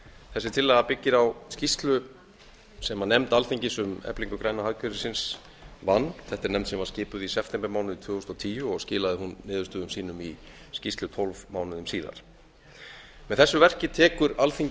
þessi tillaga byggir á skýrslu sem nefnd alþingis um eflingu græna hagkerfisins vann þetta er nefnd sem var skipuð í septembermánuði tvö þúsund og tíu og skilaði hún niðurstöðum sínum í skýrslu tólf mánuðum síðar með þessu verki tekur alþingi